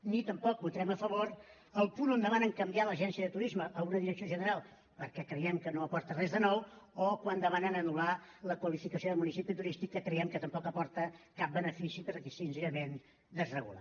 ni tampoc votarem a favor el punt on demanen canviar l’agència de turisme a una direcció general perquè creiem que no aporta res de nou o quan demanen anul·lar la qualificació de municipi turístic que creiem que tampoc aporta cap benefici perquè senzillament desregula